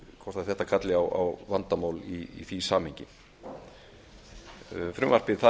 ná hvort þetta kalli á vandamál í því samhengi frumvarpið